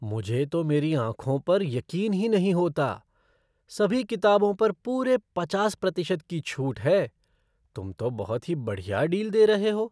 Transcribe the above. मुझे तो मेरी आंखों पर यकीन ही नहीं होता! सभी किताबों पर पूरे पचास प्रतिशत की छूट है। तुम तो बहुत ही बढ़िया डील दे रहे हो।